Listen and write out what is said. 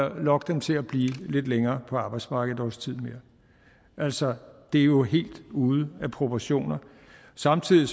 lokke dem til at blive lidt længere på arbejdsmarkedet et års tid mere altså det er jo helt ude af proportioner samtidig